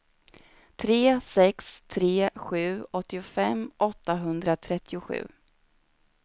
tre sex tre sju åttiofem åttahundratrettiosju